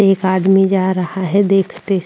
एक आदमी जा रहा है देखते --